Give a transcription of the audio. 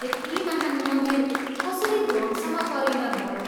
यति महान् मन्दिर कसरी ध्वंशमा परिणत भयो?